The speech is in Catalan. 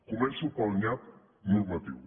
començo pel nyap normatiu